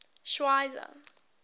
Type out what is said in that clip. schweizer